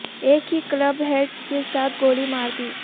ایک ہی club head کے ساتھ گولی مار دی